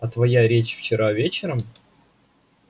а твоя речь вчера вечером